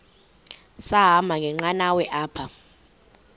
sahamba ngenqanawa apha